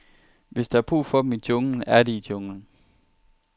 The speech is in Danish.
Hvis der er brug for dem i junglen, er de i junglen.